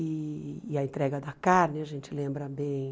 E e a entrega da carne, a gente lembra bem.